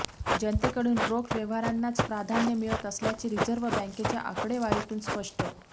जनतेकडून रोख व्यवहारांनाच प्राधान्य मिळत असल्याचे रिझर्व्ह बँकेच्या आकडेवारीतून स्पष्ट